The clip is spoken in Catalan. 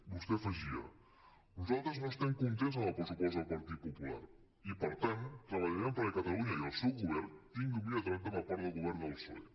vostè afegia nosaltres no estem contents amb el pressupost del partit popular i per tant treballarem perquè catalunya i el seu govern tingui un millor tracte per part del govern del psoe